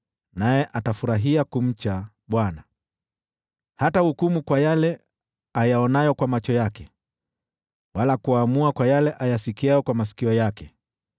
naye atafurahia kumcha Bwana . Hatahukumu kwa yale ayaonayo kwa macho yake, wala kuamua kwa yale ayasikiayo kwa masikio yake,